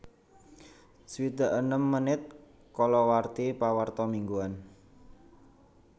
swidak enem menit kalawarti pawarta mingguan